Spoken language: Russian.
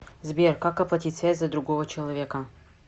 сбер как оплатить связь за другого человека